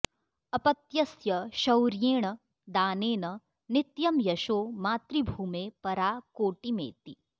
अपत्यस्य शौर्येण दानेन नित्यं यशो मातृभूमे परा कोटिमेति